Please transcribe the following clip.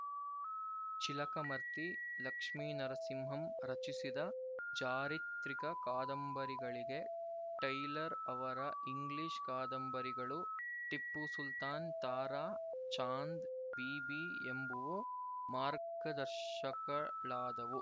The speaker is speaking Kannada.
ಚಿಲಕಮರ್ತಿ ಲಕ್ಷ್ಮೀನರಸಿಂಹಂ ರಚಿಸಿದ ಚಾರಿತ್ರಿಕ ಕಾದಂಬರಿಗಳಿಗೆ ಟೈಲರ್ ಅವರ ಇಂಗ್ಲಿಶ್ ಕಾಂದಬರಿಗಳು ಟಿಪ್ಪುಸುಲ್ತಾನ್ ತಾರ ಚಾಂದ್ ಬೀಬಿ ಎಂಬುವು ಮಾರ್ಗದರ್ಶಕಳಾದವು